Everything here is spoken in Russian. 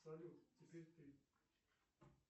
салют теперь ты